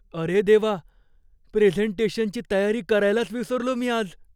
अरे देवा! प्रेझेंटेशनची तयारी करायलाच विसरलो मी आज.